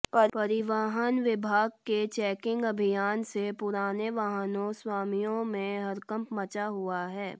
परिवहन विभाग के चेकिंग अभियान से पुराने वाहनों स्वामियों में हड़कंप मचा हुआ है